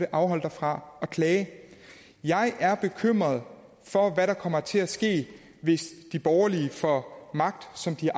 afholde dig fra at klage jeg er bekymret for hvad der kommer til at ske hvis de borgerlige får magt som de